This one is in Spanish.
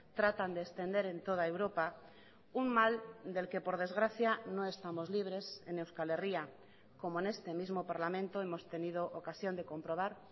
tratan de extender en toda europa un mal del que por desgracia no estamos libres en euskal herria como en este mismo parlamento hemos tenido ocasión de comprobar